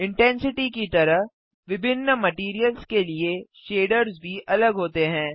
intensity की तरह विभिन्न मटैरियल्स के लिए शेडर्स भी अलग होते हैं